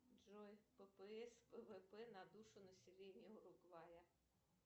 джой ппс пвп на душу населения уругвая